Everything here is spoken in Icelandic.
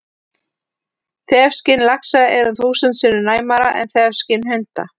Þefskyn laxa er um þúsund sinnum næmara en þefskyn hunda!